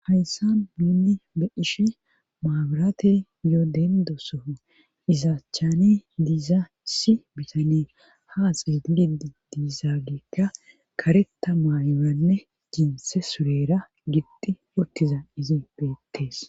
Hayssa nuunni be'ishe maaburate yoo dendoso izaachchane diiza issi bitanee haa xeegilid diizaageekka karetha maayoranne jinse surera gixxi uttiza izin beettees.